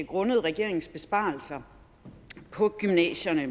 grundet regeringens besparelser på gymnasierne